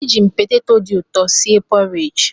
Ejirim poteto dị ụtọ si e porij.